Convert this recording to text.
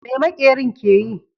Me maƙerin ke yi?